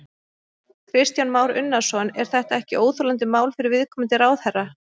Kristján Már Unnarsson: Er þetta ekki óþolandi mál fyrir viðkomandi ráðherra?